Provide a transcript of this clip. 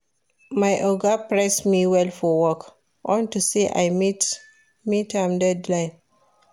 My Oga praise me well for work unto say I meet im deadline